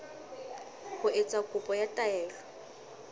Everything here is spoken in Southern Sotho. ho etsa kopo ya taelo